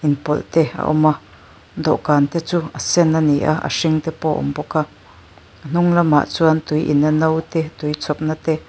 in pawlh te a awm a dawhkan te chu a sen ani a hring te pawh a awm bawk a a hnung lamah chu tui in na no te tui chhawp na te--